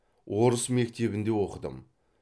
орыс мектебінде оқыдым